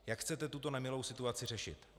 Jak chcete tuto nemilou situaci řešit?